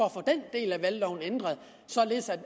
del af valgloven ændret således